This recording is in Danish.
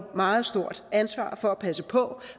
meget stort ansvar for at passe på